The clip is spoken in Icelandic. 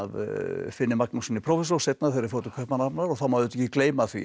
Finni Magnússyni prófessor seinna þegar þeir fóru til Kaupmannahafnar og það má auðvitað ekki gleyma því að